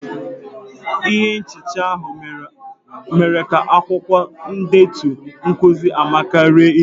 Ihe nchicha ahụ mere ka akwukwo ndetu nkuzi amaka ruru unyi.